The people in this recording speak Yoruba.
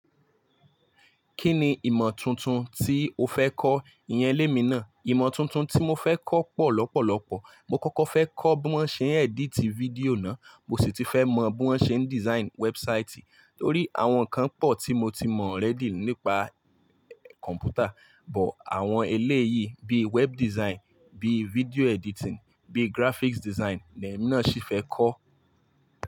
Kí ni ìmọ̀ tuntun tí o fẹ́ kọ́? Iyẹn lé mi ná. Ìmọ̀ tuntun tí mo fẹ́ kọ́ pọ̀ lọ́pọ̀lọ́pọ̀. Mo kọ́kọ́ fẹ́ kọ́ bí wọ́n ṣe ń edit video ná. Mo sì ti fẹ́ mọ bí wọ́n ṣe ń design website. Nítorí àwọn kan pọ̀ tí mo ti mọ̀ already nípa kọ̀mpútà, but àwọn eléyìí bí web design, bí video editing, bí graphics design ni èmi náà ṣì fẹ́ kọ́